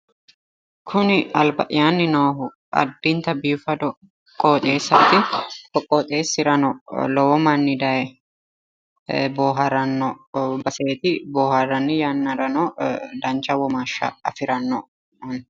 Kuni alba'yaanni noohu addinta biifado Qooxeessaati. ko qooxeessirano lowo manni daye boohaaranno baseeti. Bohaarranni yannarano dancha womaashsha afiranno kuni.